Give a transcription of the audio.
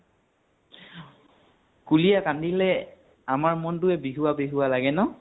কুলীয়ে কান্দিলে আমাৰ মনটোয়ে বিহুৱা বিহুৱা লাগে ন?